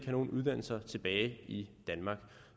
nogen uddannelser tilbage i danmark